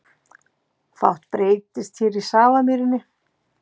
Fátt breytist hér í Safamýrinni